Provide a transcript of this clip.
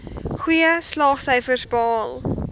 goeie slaagsyfers behaal